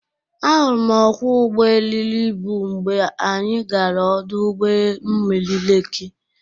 Ahụrụ m ọkwọ ụgbọ eriri ịbụ mgbe anyị gara ọdụ ụgbọ mmiri Lekị